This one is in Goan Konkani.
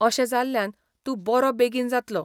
अशें जाल्ल्यान तूं बरो बेगीन जातलो.